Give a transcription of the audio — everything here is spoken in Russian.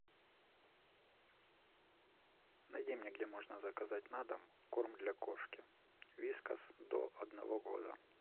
найди мне где можно заказать на дом корм для кошки вискас до одного года